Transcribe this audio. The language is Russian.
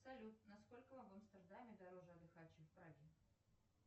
салют насколько в амстердаме дороже отдыхать чем в праге